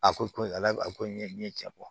A ko ko ala ko n ye n ye cɛ kɔ